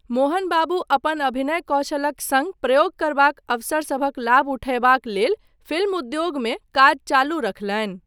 मोहन बाबू अपन अभिनय कौशलक सङ्ग प्रयोग करबाक अवसरसभक लाभ उठयबाक लेल फिल्म उद्योगमे काज चालू रखलनि।